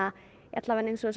alla vega þessar